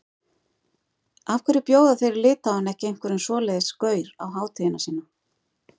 Af hverju bjóða þeir í Litháen ekki einhverjum svoleiðis gaur á hátíðina sína?